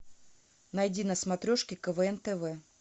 найди на смотрешке квн тв